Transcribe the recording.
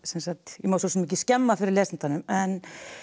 ég má svo sem ekki skemma fyrir lesandanum en